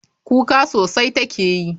Kuka sosai take yi.